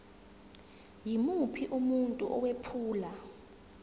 yimuphi umuntu owephula